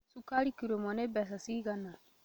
Cukari kiro ĩmwe nĩ mbeca cigana?